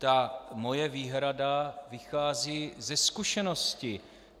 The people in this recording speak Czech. Ta moje výhrada vychází ze zkušenosti.